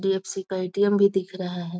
HDFC. का ATM. भी दिख रहा है।